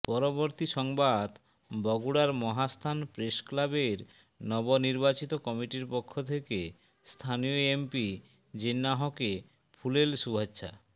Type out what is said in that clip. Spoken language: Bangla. পরবর্তী সংবাদ বগুড়ার মহাস্থান প্রেস ক্লাবের নবনির্বাচিত কমিটির পক্ষ থেকে স্থানীয় এমপি জিন্নাহকে ফুলেল শুভেচ্ছা